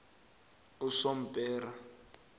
usompera